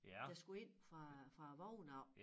Der skulle ind fra fra æ vogn af